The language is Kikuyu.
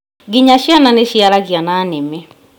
Ngĩnya ciana nĩciaragia na nĩmĩ